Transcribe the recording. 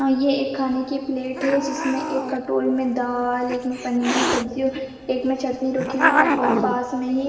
और ये एक खाने की प्लेट है जिसमें एक कटोरी में दाल एक में पनीर की सब्जी और एक में चटनी रखी हुई है पास में ही --